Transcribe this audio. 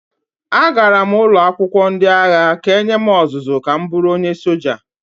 Agara m ụlọ akwụkwọ ndị agha ka e nye m ọzụzụ ka m bụrụ onye soja